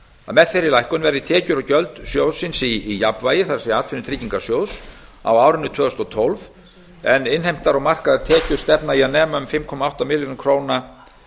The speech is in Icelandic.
með þeirri lækkun verði tekjur og gjöld atvinnutryggingasjóðs í jafnvægi á árinu tvö þúsund og tólf en innheimtar og markaðar tekjur stefna í að nema um fimm komma átta milljörðum króna